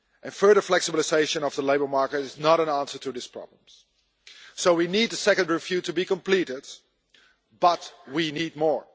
Further flexibilisation of the labour market is not an answer to these problems. We need the second review to be completed, but we need more.